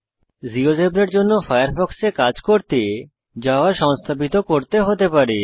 জীয়োজেব্রার জন্য ফায়ারফক্সে কাজ করতে জাভা সংস্থাপিত করতে হতে পারে